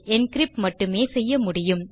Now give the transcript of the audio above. encrypt மட்டுமே செய்ய முடியும்